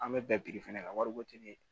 An bɛ bɛn biriki fɛnɛ ka wari ko te ni